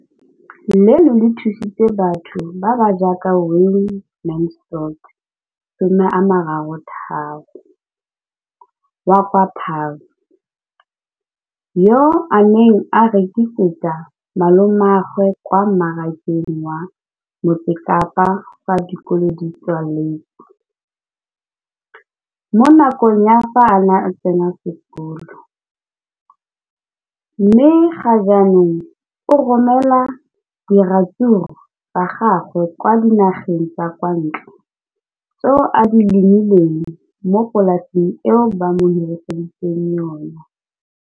Leno le thusitse batho ba ba jaaka Wayne Mansfield, 33, wa kwa Paarl, yo a neng a rekisetsa malomagwe kwa Marakeng wa Motsekapa fa dikolo di tswaletse, mo nakong ya fa a ne a santse a tsena sekolo, mme ga jaanong o romela diratsuru tsa gagwe kwa dinageng tsa kwa ntle tseo a di lemileng mo polaseng eo ba mo hiriseditseng yona.